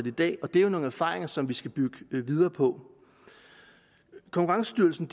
i dag og det er jo nogle erfaringer som vi skal bygge videre på konkurrencestyrelsen